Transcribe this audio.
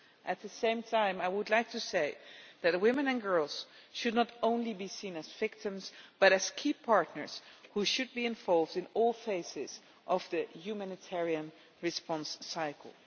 At the same time, I would like to say that women and girls should not only be seen as victims, but as key partners who should be involved in all phases of the humanitarian response cycle.